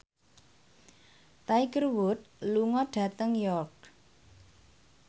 Tiger Wood lunga dhateng York